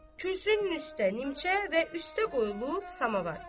Kürsünün üstdə nimçə və üstdə qoyulub samavar.